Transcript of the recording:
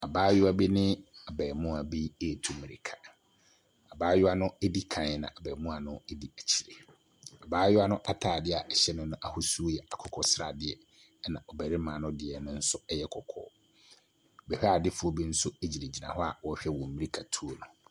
Abaayewa bi ne abarimaa bi retu mmirika. Abaayewa no di ka na abarimaa no di akyire. Abaayewa no atadeɛ a ɛhyɛ no no ahosuo yɛ akokɔsradeɛ, ɛna ɔbarimano deɛ no nso yɛ kɔkɔɔ. Bɛhwɛadefoɔ bi nso gyinagyina hɔ a wɔrehwɛ wɔn mmirikatuo no.